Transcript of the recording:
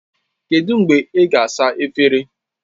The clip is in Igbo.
Kedu mgbe ị ga-asa efere?